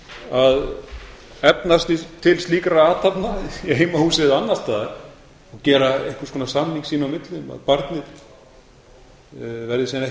að efna til slíkra athafna í heimahúsi eða annars staðar gera einhvers konar samning sín á milli um að barnið verði síðan